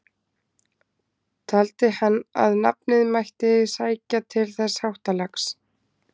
Taldi hann að nafnið mætti sækja til þessa háttalags.